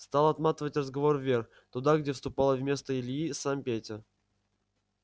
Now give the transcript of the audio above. стал отматывать разговор вверх туда где вступал вместо ильи сам петя